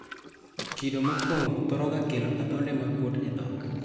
Kido mokwongo thoro ga kelo adhonde makuot e dhok.